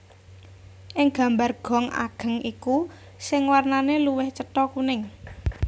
Ing gambar gong ageng iku sing warnane luwih cetha kuning